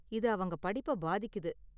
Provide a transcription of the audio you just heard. இது அவங்க படிப்பை பாதிக்குது.